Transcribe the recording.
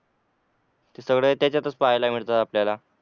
ते सगळे त्याच्यातच पहायला मिळतात आपल्याला